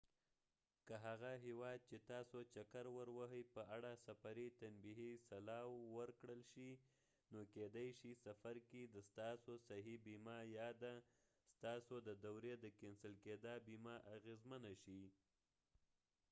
که هغه هېواد چې تاسو چکر وروهئ په اړه سفري تنبیهي سلاوو ورکړل شي نو کېدې شي سفر کې د ستاسو صحي بیمه یا د ستاسو د دورې د کېنسل کېدا بیمه اغېزمنه شي